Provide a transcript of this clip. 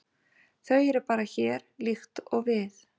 Þau eru bara hér, líkt og við.